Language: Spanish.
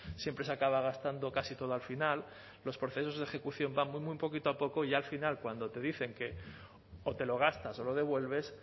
siempre se acaba gastando casi todo al final los procesos de ejecución van muy poquito a poco y ya al final cuando te dicen que o te lo gastas o lo devuelves